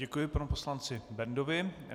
Děkuji panu poslanci Bendovi.